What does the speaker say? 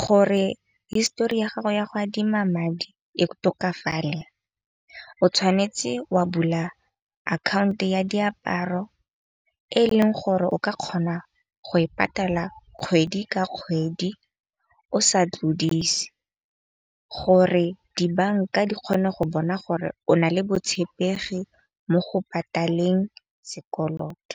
Gore histori ya gago ya go adima madi e tokafale, o tshwanetse wa bula akhaonto ya diaparo e leng gore o ka kgona go e patala kgwedi ka kgwedi. O sa tlodise gore dibanka di kgone go bona gore o na le botshepegi mo go pataleng sekoloto.